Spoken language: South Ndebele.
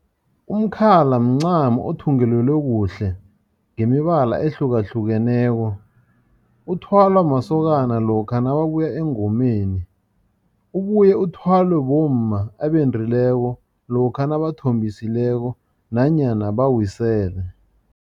Umkhala mncamo othungelelwe kuhle ngemibala ehlukahlukeneko. Uthwalwa masokana lokha nababuya engomeni, ubuye uthwalwe bomma abendileko lokha nabathombisileko nanyana bawisele.